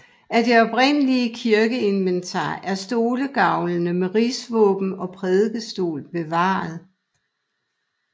Af det oprindelige kirkeinventar er stolegavlene med rigsvåben og prædikestol bevaret